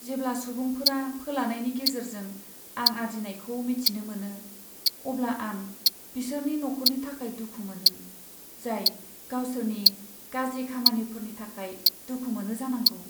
जेब्ला सुबुंफोरा फोलानायनि गेजेरजों रां आरजिनायखौ मिथिनो मोनो, अब्ला आं बिसोरनि नखरनि थाखाय दुखु मोनो, जाय गावसोरनि गाज्रि खामानिफोरनि थाखाय दुखु मोनो जानांगौ।